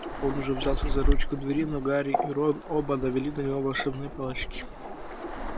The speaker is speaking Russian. он уже взялся за ручку двери но гарри и рон оба навели на него волшебные палочки